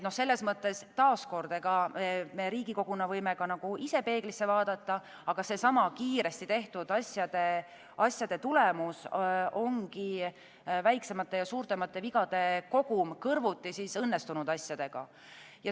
Selles mõttes me Riigikoguna võime ka ise peeglisse vaadata, aga see kiiresti tehtud asjade tulemus ongi väiksemate ja suuremate vigade kogum kõrvuti õnnestunud asjadega.